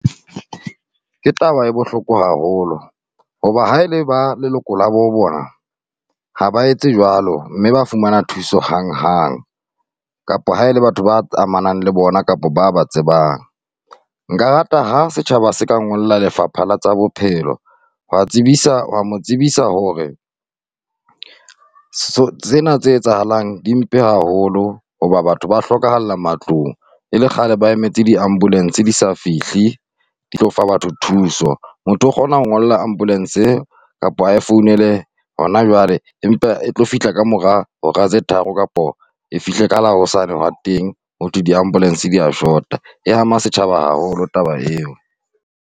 Ke taba e bohloko haholo hoba ha ele baleloko la bo bona, ha ba etse jwalo mme ba fumana thuso hanghang kapa ha e le batho ba amanang le bona kapa ba ba tsebang. Nka rata ha setjhaba se ka ngolla Lefapha la tsa bophelo ho ya tsebisa mo tsebisa hore tsena tse etsahalang di mpe haholo hoba batho ba hlokahalla matlong e le kgale ba emetse di-ambulance di sa fihle, di tlo fa batho thuso. Motho o kgona ho ngolla ambulance kapa a e founele hona jwale, empa e tlo fihla ka mora hora tse tharo kapa e fihle ka la hosane hwa teng. Hothwe di-ambulance di a shota, e ama setjhaba haholo taba eo.